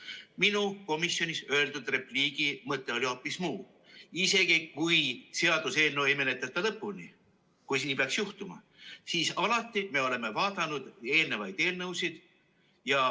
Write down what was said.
Aga minu komisjonis öeldud repliigi mõte oli hoopis muu: isegi siis, kui seaduseelnõu ei menetleta lõpuni, kui see nii peaks juhtuma, oleme me alati vaadanud ka varasemaid eelnõusid.